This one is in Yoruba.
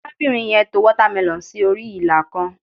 arabinrin yen to watermelon sí orí ila kan